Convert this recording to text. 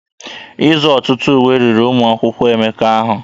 Ịzụ ọtụtụ ụwe riri ụmụaka Emeka ahụ